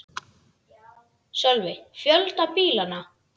Sölvi: Fjölda bílanna?